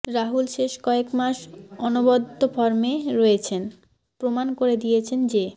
রাহুল শেষ কয়েক মাস অনবদ্য ফর্মে রয়েছেন প্রমাণ করে দিয়েছেন যে